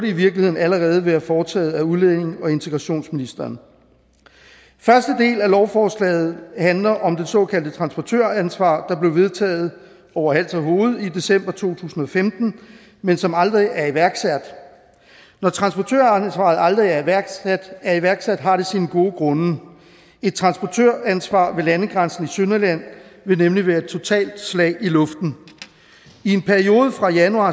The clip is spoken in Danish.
i virkeligheden allerede være foretaget af udlændinge og integrationsministeren første del af lovforslaget handler om det såkaldte transportøransvar der blev vedtaget over hals og hoved i december to tusind og femten men som aldrig er iværksat når transportøransvaret aldrig er iværksat er iværksat har det sine gode grunde et transportøransvar ved landegrænsen i sønderjylland vil nemlig være et totalt slag i luften i en periode fra januar